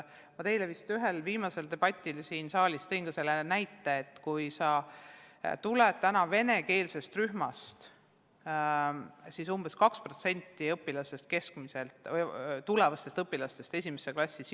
Ma teile vist ühel viimasel debatil siin saalis tõin näite, et nendest lastest, kes tulevad venekeelsest rühmast, läheb umbes 2% esimesse klassi eestikeelsesse kooli.